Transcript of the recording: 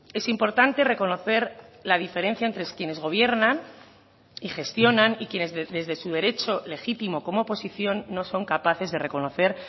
es importante reconocer la diferencia entre quienes gobiernan y gestionan y quienes desde su derecho legítimo como oposición no son capaces de reconocer